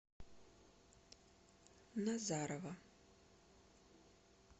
назарово